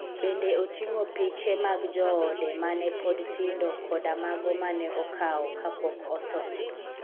Bende oting'o piche mag joode ma ne pod tindo koda mago ma ne okawo kapok otho.